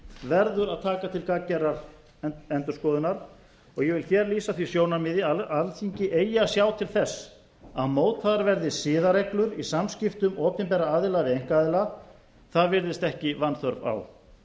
verður að taka til gagngerðrar endurskoðunar og ég vil hér lýsa því sjónarmiði að alþingi eigi að sjá til þess að mótaðar verði siðareglur í samskiptum opinberra aðila við einkaaðila það virðist ekki vanþörf á